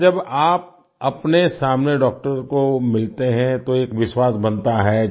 अच्छा जब आप अपने सामने डॉक्टर को मिलते हैं तो एक विश्वास बनता है